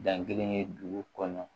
Dan kelen ye dugu kɔnɔ